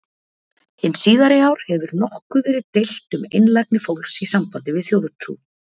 Hin síðari ár hefur nokkuð verið deilt um einlægni fólks í sambandi við þjóðtrú.